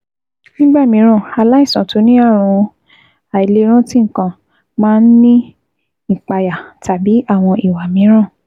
Nígbà mìíràn, aláìsàn tó ní ààrùn àìlèrántí nǹkan máa ń ní ìpayà tàbí àwọn ìwà mìíràn